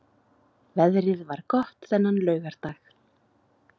Veðrið var gott þennan laugardag.